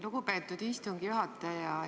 Lugupeetud istungi juhataja!